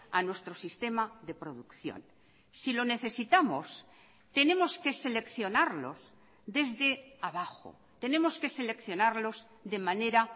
a nuestro sistema de producción si lo necesitamos tenemos que seleccionarlos desde abajo tenemos que seleccionarlos de manera